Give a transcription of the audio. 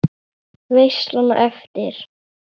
Veislan á eftir?